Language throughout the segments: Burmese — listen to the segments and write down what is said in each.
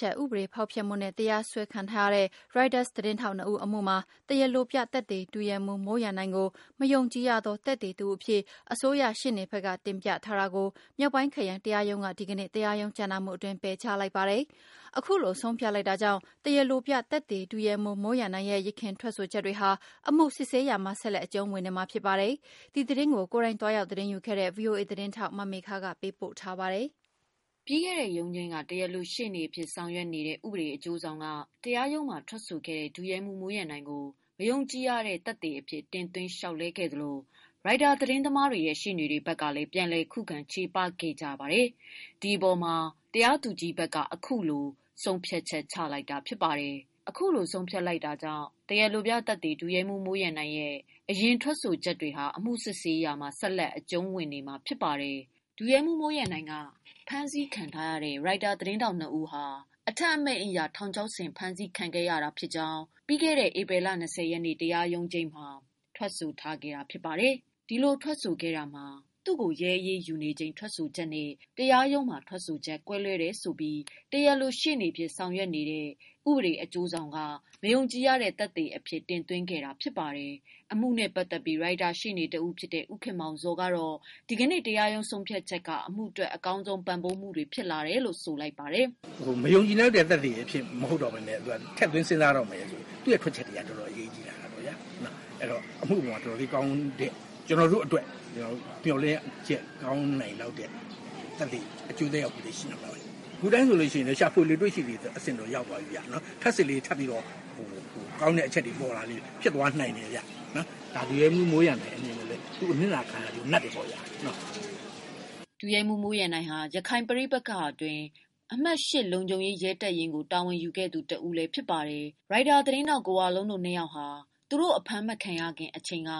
ချက် ဥပဒေ ဖောက်ဖျက်မှုနဲ့ တရားစွဲခံထားရတဲ့ Reuters သတင်းထောက် ၂ ဦးအမှု မှာ တရားလိုပြသက်သေ ဒုရဲမှူး မိုးရန်နိုင်ကို မယုံကြည် ရသော သက်သေတဦး အဖြစ် အစိုးရ ရှေ့နေဘက်က တင်ပြထားတာကို မြောက်ပိုင်းခရိုင်တရားရုံးက ဒီကနေ့ တရားရုံးကြားနာမှုအတွင်း ပယ်ချလိုက်ပါတယ်။ အခုလိုဆုံးဖြတ်လိုက်တာကြောင့် တရားလိုပြသက်သေ ဒုရဲမှူး မိုးရန်နိုင်ရဲ့ ယခင်ထွက် ဆိုချက်တွေဟာ အမှုစစ်ဆေးရာမှာ ဆက်လက်အကျုံးဝင်နေမှာဖြစ်ပါတယ်။ ဒီသတင်းကိုကိုယ်တိုင်သွားရောက် သတင်းယူခဲ့တဲ့ ဗွီအိုအေ သတင်းထောက်မေခကပေးပို့ထားပါတယ်။ ပြီးခဲ့တဲ့ ရုံးချိန်းက တရားလို ရှေ့နေအဖြစ် ဆောင်ရွက်နေတဲ့ ဥပဒေအကျိုးဆောင်က တရားရုံးမှာ ထွက်ဆိုခဲ့တဲ့ ဒုရဲမှူး မိုးရန်နိုင်ကို မယုံကြည်ရသော သက်သေ အဖြစ် တင်သွင်း လျောက်လဲခဲ့သလို Reuters ရှေ့နေတွေ ဘက်ကလည်း ပြန်လည် ခုခံချေပခဲ့ကြတဲ့အပေဓ တရားသူကြီးဘက်က အခုလိုဆုံးဖြတ် ချက်ချလိုက်တာဖြစ်ပါတယ်။ အခုလိုဆုံးဖြတ်လိုက်တာကြောင့် တရားလိုပြသက်သေ ဒုရဲမှူး မိုးရန်နိုင်ရဲ့ အရင် ထွက်ဆိုချက်တွေဟာ အမှုစစ်ဆေးရာမှာ ဆက်လက်အကျုံးဝင်နေမှာဖြစ်ပါတယ်။ ဒုရဲမှုးမိုးရန်နိုင်က ဖမ်းဆီခံထားရတဲ့ Reuters သတင်းထောက် ၂ ဦးဟာ အထက်အမိန့်အရ ထောင်ချောက်ဆင်ဖမ်းဆီးခဲ့ရကြောင်း ဧပြီလ ၂၀ ရက်နေ့ တရားရုံးချိန်းမှာထွက်ဆိုထားတာဖြစ်ပါတယ်။ ဒီလိုထွက်ဆိုတာမှာ သူရဲ့ရဲအရေးယူခံရချိန်ထွက်ဆိုချက်နဲ့ တရားရုံးထွက်ဆိုချက် ကွဲလွဲတယ် ဆိုပြီး တရားလို ရှေ့နေအဖြစ် ဆောင်ရွက်နေတဲ့ ဥပဒေအကျိုးဆောင်က မယုံကြည်ရတဲ့ သက်သေ အဖြစ်တင်သွင်းလာခဲ့တာဖြစ်ပါတယ်။ အမှုနဲ့ပတ်သတ်ပြီး ရိုက်တာရှေ့နေတဦး ဖြစ်တဲ့ ဦးခင်မောင်ဇော်ကတော့ ဒီကနေ့တရားရုံးဆုံးဖြတ်ချက်က အမှုအတွက် အကောင်းဆုံးပံ့ပိုးမှုတွေ ရလာတယ်လို့ ဆိုလိုက်ပါတယ်။ "မယုံကြည်လောက်တဲ့ သက်သေမဟုတ်ဘဲနဲ့ ထည့်သွင်းစဉ်းစားမှာဆိုတော့ သူ့ထွက်ချက်တွေက တော်တော်လေးအရေးကြီးလာပြီပေါ့နော်။ ကျနော်တို့အတွက်ကောင်းတဲ့ မေ ျှာ်လင့်ချက်အကျိုးသက်ရောက်မှုတွေရှိလာပါလိမ့်မယ်။ ခုတိုင်းဆိုရှာဖွေလေ တွေ့ရှိလေ အဆင့်တော့ရောက် သွားပြီပေါ့။ ထပ်စစ်လေကောင်းတဲ့ အချက်တွေပေါ်လာလေ ဖြစ်သွားနိုင်တယ်ဗျ။ ဒုရဲမှုးမိုးရန်နိုင်အနေနဲ့လဲ သူအနစ်နာခံရကျိုးနပ်တယ်ပေါ့ဗျာ။" ဒုရဲမှူး မိုးရန်နိုင်ဟာ ရခိုင်ပဋိပက္ခအတွင်း အမှတ်(၈) လုံခြုံရေး ရဲတပ်ရင်း ကို တာဝန်ယူခဲ့ရသူတဦး ဖြစ်ပါတယ်။ရိုက်တာသတင်းထောက် ကိုဝလုံးတို့ နှစ်ယောက်ဟာ သူတို့ အဖမ်းမခံရခင် အချိန်က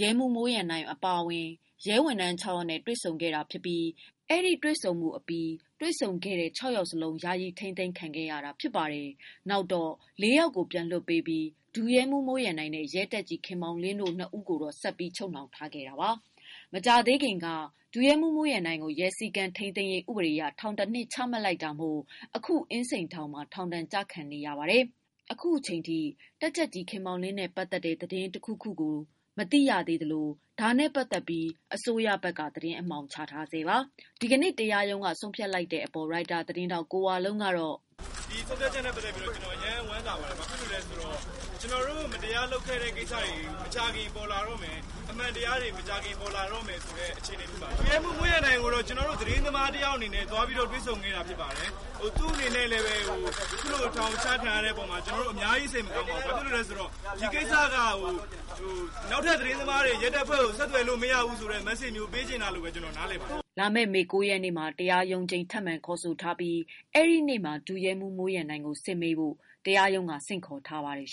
ရဲမှူး မိုးရန်နိုင်အပါအဝင် ရဲဝန်ထမ်း (၆) ယောက်နဲ့ တွေ့ဆုံခဲ့တာဖြစ်ပြီး အဲဒီတွေ့ဆုံမှု အပြီး တွေ့ဆုံခဲ့တဲ့ (၆) ယောက်လုံး ယာယီ ထိမ်းသိမ်းခံခဲ့ရတာဖြစ်ပါတယ်။ နောက်တော့ (၄) ယောက်ကို ပြန်လွှတ်ပေးခဲ့ပြီး ဒုရဲမှူးမိုးရန်နိုင်နဲ့ ရဲတပ်ကြပ်ကြီး ခင်မောင်လင်းတို့ နှစ်ယောက်ကို ဆက်ပြီး ချုပ်နှောင်ထားခံခဲ့တာပါ။ မကြာသေးခင်က ဒုရဲမှုးမိုးရန်နိုင်ကို ရဲစည်း ကမ်းထိန်းသိမ်းရေးဥပဒေအရ ထောင် ၁နှစ်ချမှတ်လိုက်တာမို့ အခု အင်းစိန်ထောင်မှာ ထောင်ဒဏ်ကျခံနေရသူတဦးဖြစ်ပါတယ်။ အခု အချိန်ထိ တပ်ကြပ်ကြီး ခင်မောင်လင်းနဲ့ပတ်သက်တဲ့ သတင်းတခုခုကိုတော့ မသိရသေးသလို ဒါနဲ့ပတ်သတ်လို့ အစိုးရဘက်က သတင်း အမှောင်ချထားဆဲပါ။ ဒီကနေ့ဆုံးဖြတ်လိုက်တဲ့ အပေါ် ရိုက်တာ သတင်းထောက်ကိုဝလုံးက " ဒီဆုံးဖြတ်ချက်နဲ့ပတ်သတ်ပြီး ကျနော်အရမ်းဝမ်းသာပါတယ်။ ဘာလို့ဆို မကြာခင် ကျနော်တို့ကိုလုပ်ခဲ့တဲ့ မတရားမှုတွေပေါ်လာတော့မယ်။ အမှန်တရားပေါ်လာ ပါတော့မယ်။ ဒုရဲမှုးမိုးရန်နိုင်ကို ကျနော်တို့သတင်းသမား တယောက်အနေနဲ့ သွားရောက်တွေ့ဆုံခဲ့တာဖြစ်ပါတယ်။ သူ့အနေနဲ့ အခုလိုထောင်ချခံရတဲ့ အပေါ်အ များကြီးစိတ်မကောင်းပါဘူး။ ဒီကိစ္စကနောက်ထပ်သတင်းသမားတွေ ရဲတွေကိုဆက်သွယ်လို့မရဘူးဆိုတဲ့ မက်စေ့ပေးချင်တာလို့ ကျနော်နား လည်ပါတယ်" လာမယ့် မေ ၉ ရက်နေ့မှာ တရားရုံးချိန်းထပ်မံခေါ်ဆိုထားပြီး အဲဒီနေ့မှာ ဒုရဲမှုးမိုးရန်နိုင်ကို စစ်မေးဖို့ တရားရုံးက ဆင့်ခေါ်ထားပါတယ်